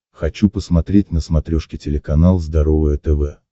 хочу посмотреть на смотрешке телеканал здоровое тв